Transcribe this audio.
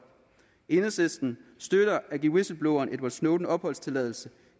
enhedslisten støtter at give whistlebloweren edward snowden opholdstilladelse